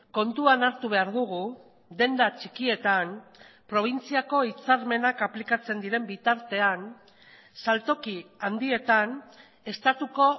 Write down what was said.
kontuan hartu behar dugu denda txikietan probintziako hitzarmenak aplikatzen diren bitartean saltoki handietan estatuko